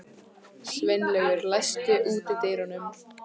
Sveinlaugur, læstu útidyrunum.